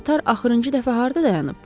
Qatar axırıncı dəfə harda dayanıb?